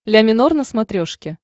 ля минор на смотрешке